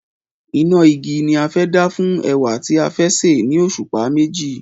Iná igi ni a fẹ́ dá fún ẹ̀wà tí a fẹ́ sè ni òṣùpá meji